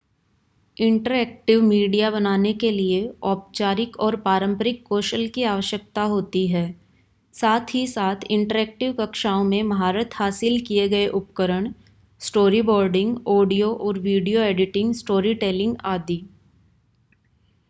interactive media बनाने के लिए औपचारिक और पारंपरिक कौशल की आवश्यकता होती है साथ ही साथ इंटरैक्टिव कक्षाओं में महारत हासिल किये गये उपकरण स्टोरीबोर्डिंग ऑडियो और वीडियो एडिटिंग स्टोरी टेलिंग आदि